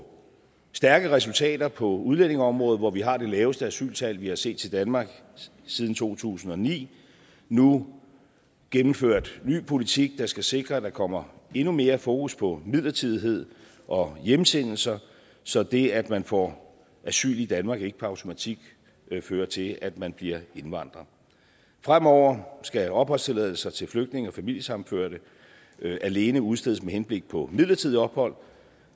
stærke resultater på udlændingeområdet hvor vi har det laveste asyltal vi har set i danmark siden to tusind og ni nu gennemført en ny politik der skal sikre at der kommer endnu mere fokus på midlertidighed og hjemsendelser så det at man får asyl i danmark ikke per automatik fører til at man bliver indvandrer fremover skal opholdstilladelse til flygtninge og familiesammenførte alene udstedes med henblik på midlertidigt ophold